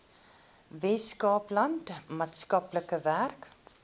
weskaapland maatskaplike werk